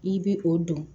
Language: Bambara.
I bɛ o don